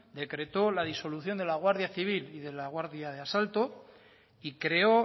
decretó la disolución de la guardia civil y de la guardia de asalto y creó